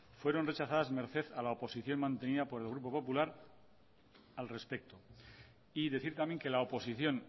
fueron rechazadas merced a la oposición mantenida por el grupo popular al respecto y decir también que la oposición